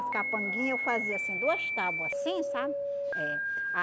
As capanguinha eu fazia assim, duas tábua assim, sabe? É.